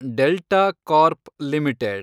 delta Corp limited